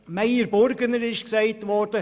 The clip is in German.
Meyer Burger wurde erwähnt.